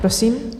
Prosím.